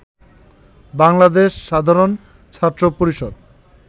বাংলাদেশ সাধারণ ছাত্র পরিষদ